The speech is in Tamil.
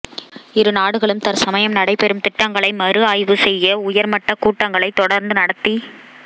இரு நாடுகளும் தற்சமயம் நடைபெறும் திட்டங்களை மறு ஆய்வு செய்ய உயர் மட்ட கூட்டங்களை தொடர்ந்து நடத்தி